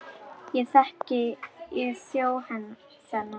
Ekki þekki ég þjó þennan.